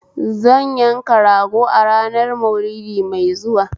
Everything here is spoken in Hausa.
Zan yanka rago a ranar Maulidi mai zuwa